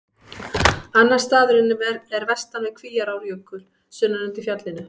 Annar staðurinn er vestan við Kvíárjökul, sunnan undir fjallinu.